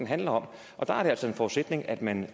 handler om og der er det altså en forudsætning at man